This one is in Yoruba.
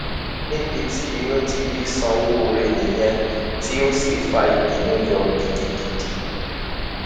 níbi tí inú ti bí sowore nìyẹn tó sì fa ìbínú yọ gidigidi